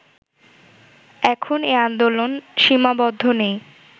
এখন এ আন্দোলন সীমাবদ্ধ নেই